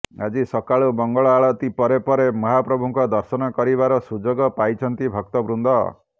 ଆଜି ସକାଳୁ ମଙ୍ଗଳ ଆଳତି ପରେ ପରେ ମହାପ୍ରଭୁଙ୍କ ଦର୍ଶନ କରିବାର ସୁଯୋଗ ପାଇଛନ୍ତି ଭକ୍ତବୃନ୍ଦ